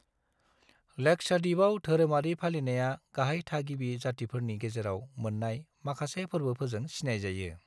लाक्षाद्वीपाव धोरोमारि फालिनाया गाहाय थागिबि जातिफोरनि गेजेराव मोन्नाय माखासे फोर्बोफोरजों सिनायजायो।